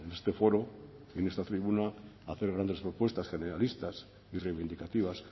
este foro en esta tribuna hacer grandes propuestas generalistas y reivindicativas